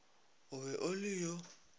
o be o le yo